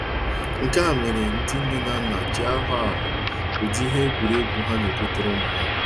Nke a mere ndị nne na nna ji ahọ ahọ ụdịrị ihe egwuregwu ha na-egotere ụmụ ha.